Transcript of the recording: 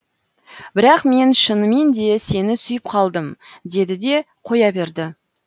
бірақ мен шыныменде сені сүйіп қалдым деді де қоя берді